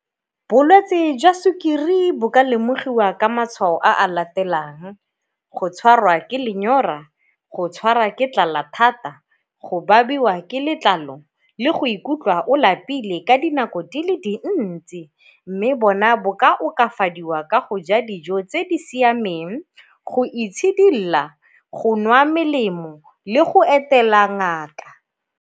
Bolwetsi jwa sukiri bo ka lemogiwa ka matshwao a a latelang go tshwarwa ke lenyora, go tshwara ke tlala thata, go ba babiwa ke letlalo le go ikutlwa o lapile ka dinako di le dintsi. Mme bona bo ka okafadiwa ka go ja dijo tse di siameng, go itshidila, go nwa melemo le go etela ngaka.